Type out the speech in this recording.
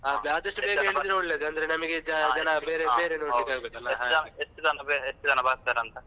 ಎಷ್ಟು ಜನ ಬರ್ತಾರಂತ.